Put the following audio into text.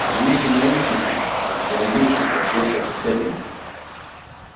возьмите наушники распорядилась профессор стебль